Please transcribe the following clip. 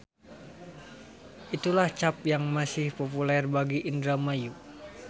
Itulah cap yang masih populer bagi Indramayu.